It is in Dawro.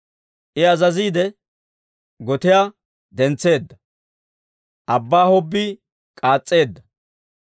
I azaziide, gotiyaa dentseedda; abbaa hobbii k'aas's'eedda.